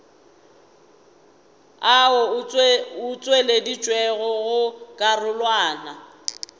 ao a tšweleditšwego go karolwana